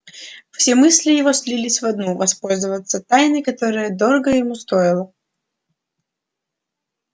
все мысли его слились в одну воспользоваться тайной которая дорого ему стоила